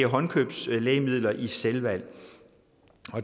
håndkøbslægemidler i selvvalg